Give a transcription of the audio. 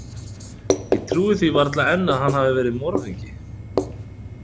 Ég trúi því varla enn að hann hafi verið morðingi.